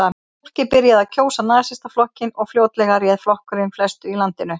Fólkið byrjaði að kjósa Nasistaflokkinn og fljótlega réð flokkurinn flestu í landinu.